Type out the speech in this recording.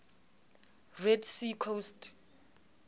red sea coast